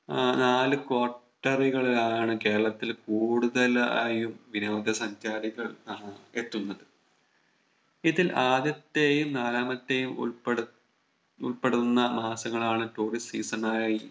ആഹ് നാല് Quarter കളിലാണ് കേരളത്തിൽ കൂടുതലായും വിനോദ സഞ്ചാരികൾ ആഹ് എത്തുന്നത് ഇതിൽ ആദ്യത്തെയും നാലാമത്തെയും ഉൾപ്പെടു ഉൾപ്പെടുന്ന മാസങ്ങളാണ് Tourist season ആയി